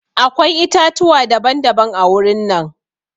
Akwai itãtuwa daban daban-daban a wurin nan.